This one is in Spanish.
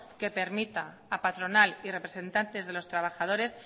que permita a patronal y representantes de los trabajadores